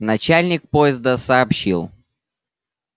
начальник поезда сообщил